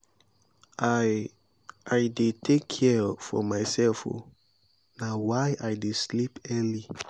i i dey care for mysef o na why i dey sleep early.